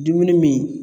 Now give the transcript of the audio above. Dumuni min